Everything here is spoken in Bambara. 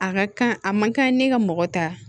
A ka kan a man kan ne ka mɔgɔ ta